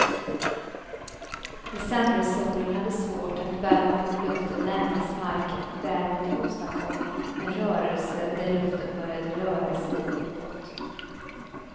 Decembersolen hade svårt att värma upp luften närmast marken och därmed åstadkomma en rörelse där luften började röra sig uppåt.